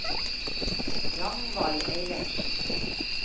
Ragnvald Eilertsen